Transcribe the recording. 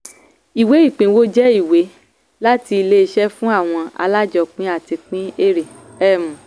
ìwé ìpínwó jẹ́ ìwé láti ilé iṣẹ́ fún àwọn alájọpin láti pín èèrè. um